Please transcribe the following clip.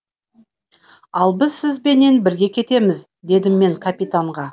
ал біз сізбенен бірге кетеміз дедім мен капитанға